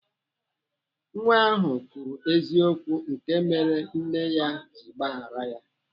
Nwa ahụ kwuru eziokwu nke mere nne ya ji gbahara ya.